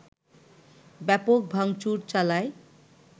ব্যাপক ভাংচুর চালায়